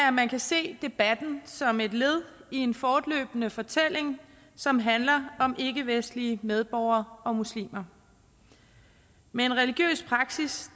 at man kan se debatten som et led i en fortløbende fortælling som handler om ikkevestlige medborgere og muslimer med en religiøs praksis